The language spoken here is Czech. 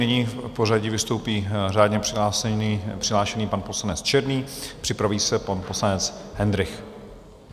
Nyní v pořadí vystoupí řádně přihlášený pan poslanec Černý, připraví se pan poslanec Hendrych.